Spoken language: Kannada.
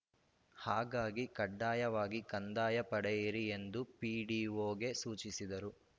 ಹಾಗಾಗಿ ಕಡ್ಡಾಯವಾಗಿ ಕಂದಾಯ ಪಡೆಯಿರಿ ಎಂದು ಪಿಡಿಒಗೆ ಸೂಚಿಸಿದರು